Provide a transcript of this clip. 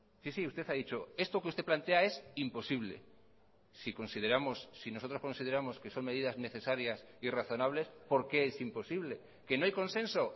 sí sí usted ha dicho esto que usted plantea es imposible si consideramos si nosotros consideramos que son medidas necesarias y razonables por qué es imposible que no hay consenso